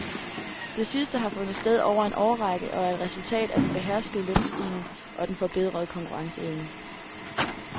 Det sidste har fundet sted over en årrække, og er et resultat af den beherskede lønstigning og den forbedrede konkurrenceevne.